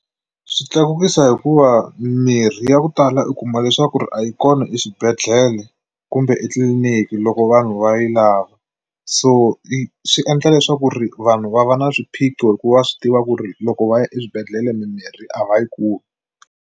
Swi tlakukisa hikuva mirhi ya ku tala u kuma leswaku ri a yi kona eswibedhlele kumbe etliliniki loko vanhu va yi lava so i swi endla leswaku ri vanhu va va na swiphiqo hikuva swi tiva ku ri loko va ya eswibedhlele mimirhi a va yi kumi.